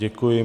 Děkuji.